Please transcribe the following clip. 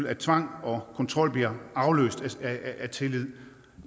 at tvang og kontrol bliver afløst af tillid